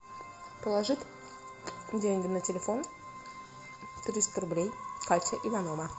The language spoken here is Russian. положить деньги на телефон триста рублей катя иванова